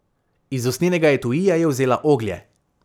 Iz usnjenega etuija je vzela oglje.